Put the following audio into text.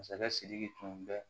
Masakɛ sidiki tun bɛ